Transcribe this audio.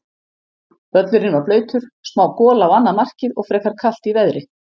Völlurinn var blautur, smá gola á annað markið og frekar kalt í veðri.